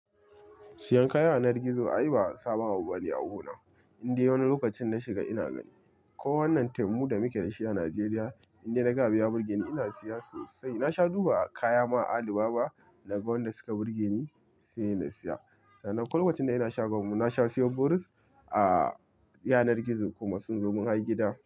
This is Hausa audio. Siyan kaya a yanar gizo ai ba sabawa bane a gu na. Inda wani lokacin na shiga ina gani ko wannan temu da muke da shi a Najeriya, inda na ga abiya birge ni ina siya sosai. Na sha duba kaya ma a Alibaba na ga wanda suka burge ni sai na siya. Sanan lokacin da ina shiga mu na sha siyo boris a yanar gizo kuma sun zo mun har gida.